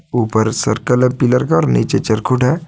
ऊपर सर्कल है पिलर का नीचे चरखूट है।